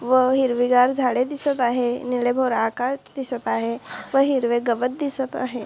व हिरवीगार झाडे दिसत आहे निळे भोर आकाश दिसत आहे व हिरवे गवत दिसत आहे.